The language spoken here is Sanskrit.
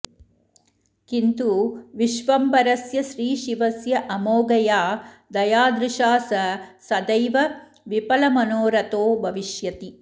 किन्तु विश्वम्भरस्य श्रीशिवस्य अमोघया दयादृशा स सदैव विफलमनोरथो भविष्यति